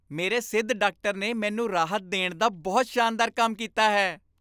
ਮੇਰੇ ਸਿੱਧ ਡਾਕਟਰ ਨੇ ਮੈਨੂੰ ਰਾਹਤ ਦੇਣ ਦਾ ਬਹੁਤ ਸ਼ਾਨਦਾਰ ਕੰਮ ਕੀਤਾ ਹੈ।